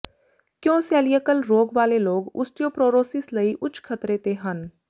ਕਿਉਂ ਸੈਲਯੀਕਲ ਰੋਗ ਵਾਲੇ ਲੋਕ ਓਸਟੀਓਪਰੋਰਰੋਸਿਸ ਲਈ ਉੱਚ ਖਤਰੇ ਤੇ ਹਨ